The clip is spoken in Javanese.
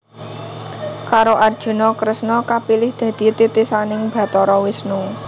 Karo Arjuna Kresna kapilih dadi titisaning Bathara Wisnu